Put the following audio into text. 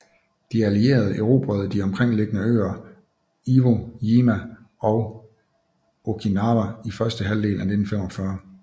De allierede erobrede de omkringliggende øer Iwo Jima og Okinawa i første halvdel af 1945